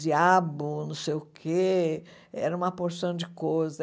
diabo, não sei o quê, era uma porção de coisa.